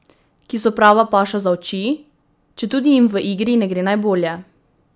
Ki so prava paša za oči, četudi jim v igri ne gre najbolje?